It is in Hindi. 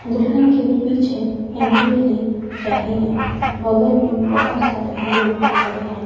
दुल्हन के पीछे एंट्री ले रहे हैं बगल में बहुत सारे लोग खड़े है।